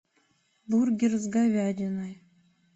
бургер с говядиной